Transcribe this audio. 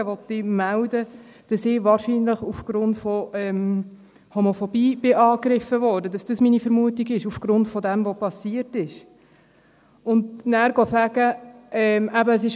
Will ich melden, dass ich wahrscheinlich aufgrund von Homophobie angegriffen wurde, dass dies aufgrund dessen, was geschehen ist, meine Vermutung ist?